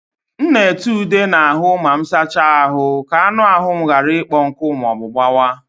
M na-ete ude na ahụ ma m sachaa ahụ ka anụ ahụ m ghara ịkpọ nkụ ma ọ bụ gbawa.